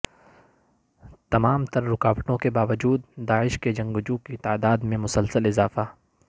تمام تررکاوٹوں کے باوجودداعش کے جنگجووں کی تعدادمیں مسلسل اضافہ